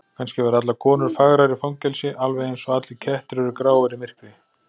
Kannski verða allar konur fagrar í fangelsi, alveg einsog allir kettir eru gráir í myrkri.